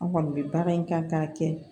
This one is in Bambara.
An kɔni bɛ baara in kan k'a kɛ